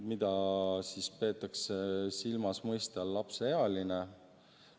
Mida peetakse silmas mõiste all "lapseealine"?